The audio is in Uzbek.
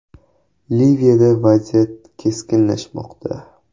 Liviyada vaziyat keskinlashmoqda.